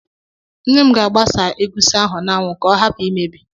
Nne m ga-agbasa egusi ahụ n'anwụ ka ọ hapụ imebi